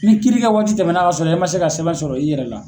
Ni kiiri kɛ waati tɛmɛna ka sɔrɔ e man se ka sɛbɛn sɔrɔ i yɛrɛ la